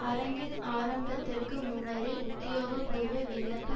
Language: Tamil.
அரங்கின் ஆரம்பத்திற்கு முன்னரே உத்தியோகபூர்வ விண்ணப்ப